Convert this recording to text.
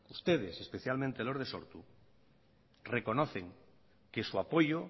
ustedes especialmente los de sortu reconocen que su apoyo